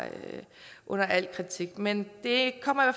under al kritik men det kommer